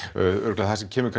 örugglega það sem kemur